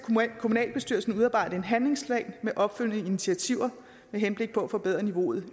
kommunalbestyrelsen udarbejde en handlingsplan med opfølgende initiativer med henblik på at forbedre niveauet